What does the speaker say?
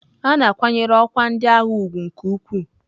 A na-akwanyere ọkwa ndị agha ugwu nke ukwuu.